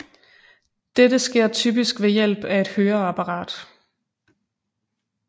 Dette sker typisk ved hjælp af et høreapparat